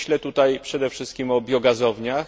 Myślę tutaj przede wszystkim o biogazowniach.